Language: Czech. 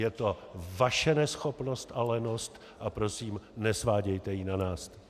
Je to vaše neschopnost a lenost a prosím, nesvádějte ji na nás.